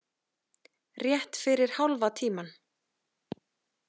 Rétt fyrir hálfa tímann.